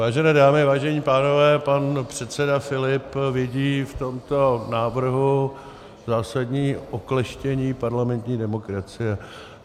Vážené dámy, vážení pánové, pan předseda Filip vidí v tomto návrhu zásadní okleštění parlamentní demokracie.